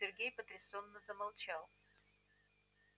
сергей потрясённо замолчал